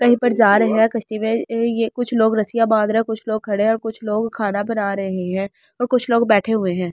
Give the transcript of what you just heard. कहीं पर जा रहे हैं कश्ती में ये कुछ लोग रस्सियां बांध रहे हैं कुछ लोग खड़े हैं और कुछ लोग खाना बना रहे हैं और कुछ लोग बैठे हुए हैं।